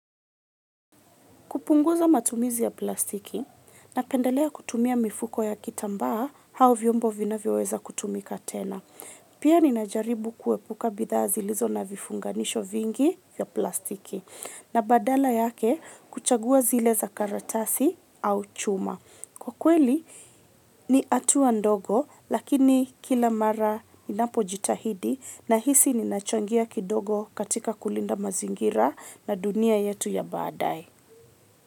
Kupunguza matumizi ya plastiki napendelea kutumia mifuko ya kitambaa au vyombo vinavyoweza kutumika tena. Pia ninajaribu kuepuka bidhaa zilizo na vifunganisho vingi ya plastiki na badala yake kuchagua zile za karatasi au chuma. Kwa kweli ni hatua ndogo lakini kila mara ninapojitahidi nahisi ninachangia kidogo katika kulinda mazingira na dunia yetu ya baadae.